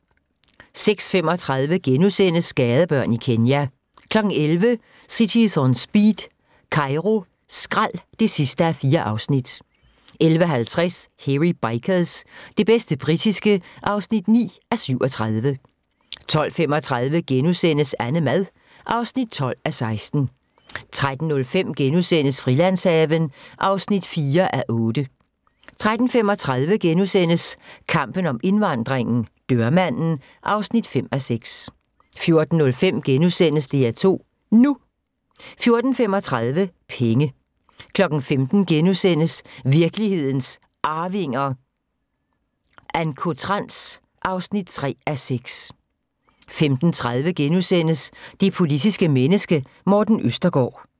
06:35: Gadebørn i Kenya * 11:00: Cities On Speed - Kairo skrald (4:4) 11:50: Hairy Bikers – det bedste britiske (9:37) 12:35: AnneMad (12:16)* 13:05: Frilandshaven (4:8)* 13:35: Kampen om indvandringen - dørmanden (5:6)* 14:05: DR2 NU * 14:35: Penge 15:00: Virkelighedens Arvinger: Ancotrans (3:6)* 15:30: Det politiske menneske – Morten Østergaard *